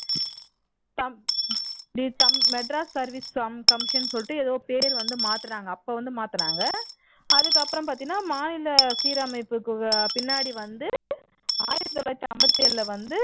madras service commission ன்னு சொல்லிட்டு ஏதோ பேர் வந்து மாத்துனாங்க அப்போ வந்து மாத்துனாங்க அதுக்கப்புறம் பார்த்தீன்னா மாநில சீரமைப்புக்கு பின்னாடி வந்து ஆயிரத்து தொள்ளாயிரத்து ஐம்பத்து எழில வந்து